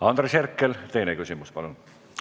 Andres Herkel, teine küsimus palun!